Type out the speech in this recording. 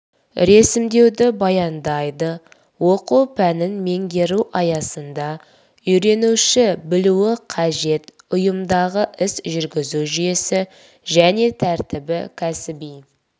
ресімдеуді баяндайды оқу пәнін меңгеру аясында үйренуші білуі қажет ұйымдағы іс жүргізу жүйесі және тәртібі кәсіби